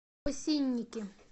осинники